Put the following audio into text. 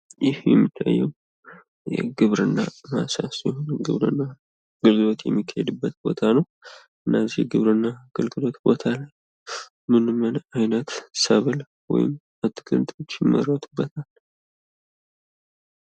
ይህ የሚታየው የግብርና ማሳ ሲሆን ግብርና በብዛት የሚካሄድበት ቦታ ነው እና እዚህ የግብርና ቦታ ላይ ምንም አይነት ሰብል ወይም የአትክልት አይነቶች ይመረትበታል::